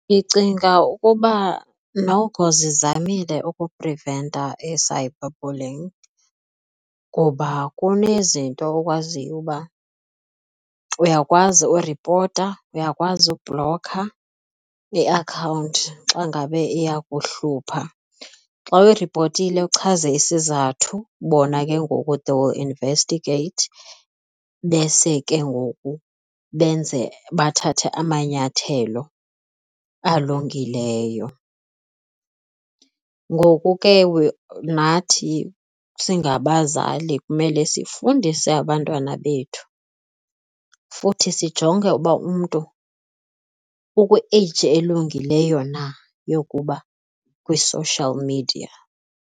Ndicinga ukuba noko zizamile ukupreventa i-cyber bullying ngoba kunezinto okwaziyo uba uyakwazi ukuripota, uyakwazi ubhlokha iakhawunti xa ngabe iyakuhlupha. Xa uyiripotile uchaze isizathu bona ke ngoku they will investigate bese ke ngoku benze bathathe amanyathelo alungileyo. Ngoku ke nathi singabazali kumele sifundise abantwana bethu futhi sijonge uba umntu ukwi-age elungileyo na yokuba kwi-social media.